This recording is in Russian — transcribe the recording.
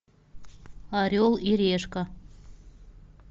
орел и решка